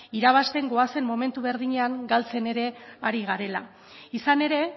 irabazten goazen momentu berdinean galtzen ere ari garela izan ere